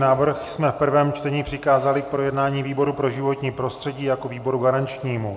Návrh jsme v prvém čtení přikázali k projednání výboru pro životní prostředí jako výboru garančnímu.